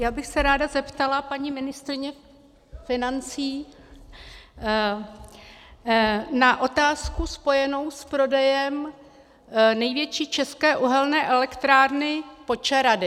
Já bych se ráda zeptala paní ministryně financí na otázku spojenou s prodejem největší české uhelné elektrárny Počerady.